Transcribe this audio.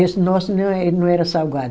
Esse nosso não, ele não era salgado.